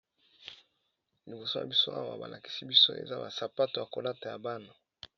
liboso ya biso awa balakisi biso eza basapato ya kolata ya bana